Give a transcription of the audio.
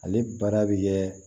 Ale baara bɛ kɛ